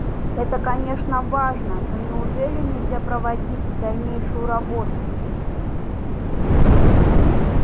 это конечно важно но неужели нельзя проводить дальнейшую работу